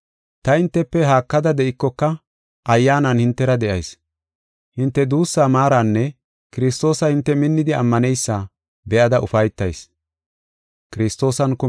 Ta hintefe haakada de7ikoka ayyaanan hintera de7ayis. Hinte duussaa maaranne Kiristoosa hinte minnidi ammaneysa be7ada ufaytayis.